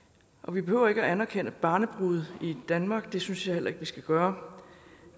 vi behøver ikke at anerkende barnebrude i danmark og det synes jeg heller ikke at vi skal gøre